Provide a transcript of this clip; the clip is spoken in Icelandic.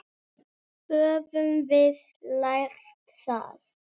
María og Ragnar.